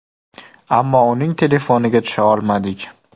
Ammo uning telefoniga tusha olmadik.